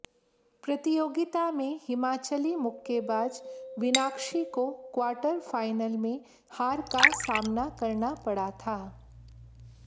प्रतियोगिता में हिमाचली मुक्केबाज विनाक्षी को क्वार्टर फाइनल में हार का सामना करना पड़ा था